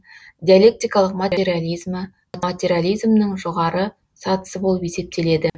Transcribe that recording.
диалектикалық материализмі материализмнің жоғары сатысы болып есептеледі